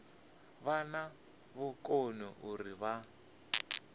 vha na vhukoni uri vha